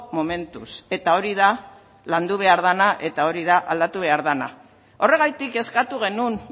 momentuz eta hori da landu behar dena eta hori da aldatu behar dena horregatik eskatu genuen